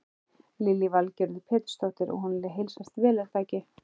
Lillý Valgerður Pétursdóttir: Og honum heilsast vel er það ekki?